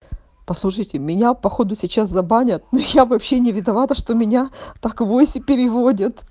послушайте меня походу сейчас забанят но я вообще не виновата что меня так вось и переводят